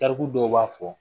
Tariku dɔw b'a fɔ